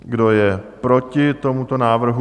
Kdo je proti tomuto návrhu?